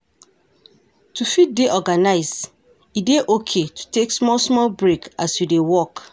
To fit dey organized, e dey okay to take small small break as you dey work